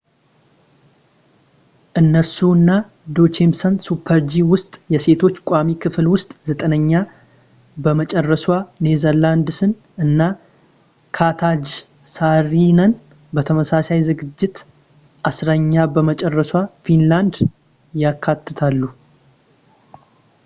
እነሱ አና ጆቼምሰን ሱፐር-ጂ ውስጥ የሴቶች ቋሚ ክፍል ውስጥ ዘጠነኛ በመጨረሷ ኔዘርላንድስን እና ካትጃ ሳሪነን በተመሳሳይ ዝግጅት አስረኛ በመጨረሷ ፊንላድን ያካትታሉ